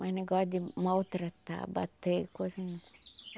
Mas negócio de maltratar, bater, coisa